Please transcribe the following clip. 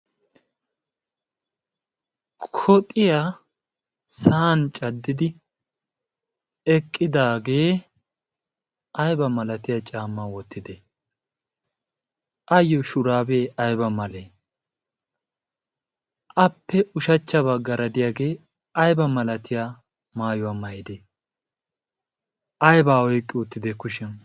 koxiyaa sa'an caddidi eqqidaagee ayba malatiya caammaa wottide ayyo shuraabee ayba malee appe ushachchabaa garadiyaagee ayba malatiya maayuwaa maydee aybaa oyqqi oottidee kushiyan.